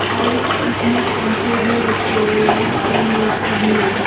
और इसमें पंखे भी रखे हुए हैं और लेटें भी हैं।